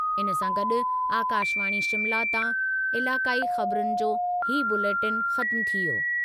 इन सां गॾु आकाशवाणी शिमला तां इलाक़ाई ख़बरुनि जो हीअ बुलेटिन ख़त्मु थी वियो।